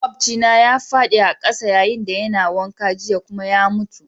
Maƙwabcina ya fadi a'kasa yayin da yana wanka jiya kuma ya mutu.